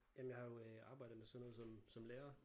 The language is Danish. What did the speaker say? Jamen jeg har jo øh arbejdet med sådan noget som som lærer